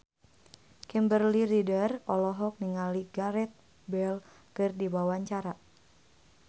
Kimberly Ryder olohok ningali Gareth Bale keur diwawancara